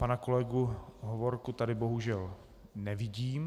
Pana kolegu Hovorku tady bohužel nevidím.